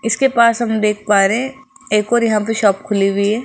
इसके पास हम देख पा रहे हैं एक और यहां पे शॉप खुली हुई है।